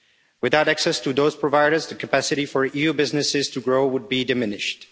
Without access to those providers, the capacity for EU businesses to grow would be diminished.